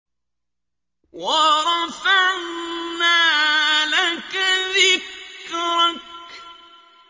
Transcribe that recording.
وَرَفَعْنَا لَكَ ذِكْرَكَ